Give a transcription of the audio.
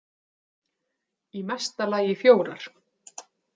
Í mesta lagi fjórar.